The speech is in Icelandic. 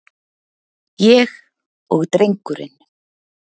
Ég og drengurinn.